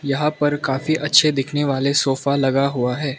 यहां पर काफी अच्छे दिखने वाले सोफा लगा हुआ है।